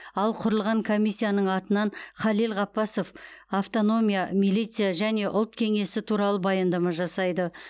ал құрылған комиссияның атынан халел ғаббасов автономия милиция және ұлт кеңесі туралы баяндама жасайды